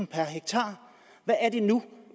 per hektar hvad er det nu